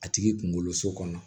A tigi kunkolo so kɔnɔ